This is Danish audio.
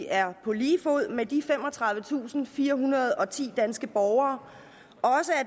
er på lige fod med de femogtredivetusinde og firehundrede og ti danske borgere